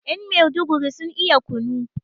yan meduguri sun iya kunu